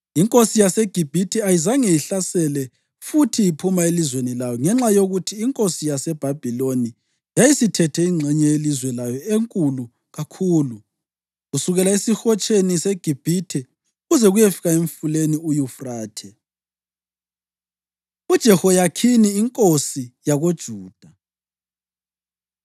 Inkosi yaseGibhithe ayizange ihlasele futhi iphuma elizweni layo, ngenxa yokuthi inkosi yaseBhabhiloni yayisithethe ingxenye yelizwe layo enkulu kakhulu, kusukela eSihotsheni seGibhithe kuze kuyefika eMfuleni uYufrathe. UJehoyakhini Inkosi YakoJuda